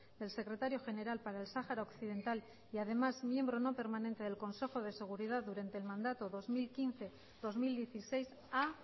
del secretario general para el sahara occidental y además miembro no permanente del consejo de seguridad durante el mandato dos mil quince dos mil dieciséis a